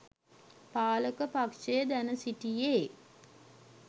පාලක පක්‍ෂය දැන සිටියේ